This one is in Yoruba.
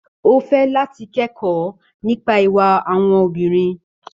Ó fẹ́ láti kẹ́kọ̀ọ́ nípa ìwà àwọn obìnrin.